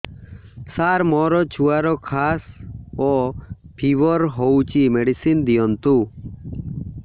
ସାର ମୋର ଛୁଆର ଖାସ ଓ ଫିବର ହଉଚି ମେଡିସିନ ଦିଅନ୍ତୁ